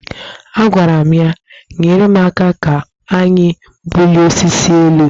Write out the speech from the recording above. Agwara m ya, nyere m aka ka anyị bulie osisi a elu